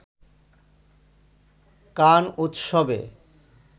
কান উৎসবে